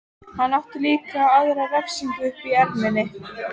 Hann átti líka aðra refsingu uppi í erminni.